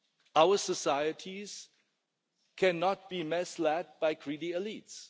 Our societies cannot be misled by greedy elites.